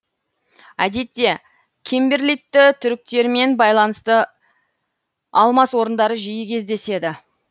әдетте кимберлитті түріктермен байланысты алмас орындары жиі кездеседі